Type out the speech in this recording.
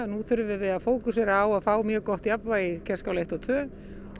nú þurfum við að fókusera á það að fá mjög gott jafnvægi í Kerskála eitt og tvö